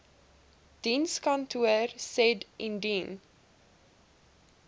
dienskantoor said indien